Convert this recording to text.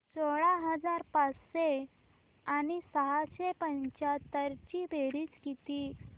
सोळा हजार पाचशे आणि सहाशे पंच्याहत्तर ची बेरीज किती